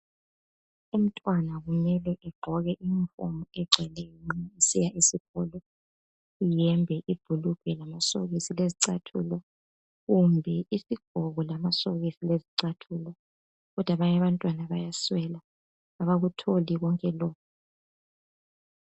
Umntwana kumele egqoke iyunifomu egcweleyo nxa esiya esikolo, iyembe, ibhulugwe lamasokisi lezicathulo kumbe izigqoko, amasokisi lezicathulo kodwa abanye abantwana bayaswela abakutholi lonke lokhu.